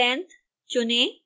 $length चुनें